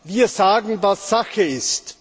Wir sagen, was Sache ist.